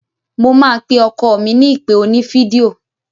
Mo máa pe ọkọ mi ní ìpè oní fídíò.